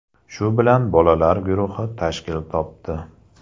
Shu bilan ‘Bolalar’ guruhi tashkil topdi.